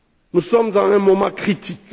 Nous sommes à un moment critique.